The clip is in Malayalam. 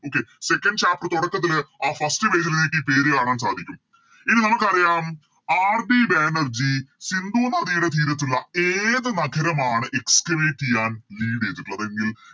Okay second chapter തുടക്കത്തില് ആ First page ല് നിങ്ങക്കി പേര് കാണാൻ സാധിക്കും ഇനി നമുക്കറിയാം RD ബാനർജി സിന്ധു നദിയുടെ തീരത്തുള്ള ഏത് നഗരമാണ് Excavate ചെയ്യാൻ Lead ചെയ്തിട്ടുള്ളത് എങ്കിൽ